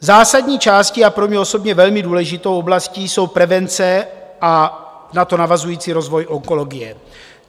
Zásadní částí - a pro mě osobně velmi důležitou oblastí - jsou prevence a na to navazující rozvoj onkologie.